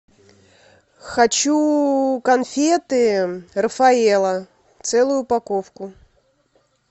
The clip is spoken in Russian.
хочу конфеты рафаэлло целую упаковку